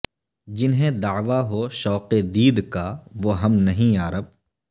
جنھیں دعو ی ہو شوق دید کا وہ ہم نہیں یارب